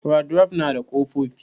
Wadrof nada ƙofofi.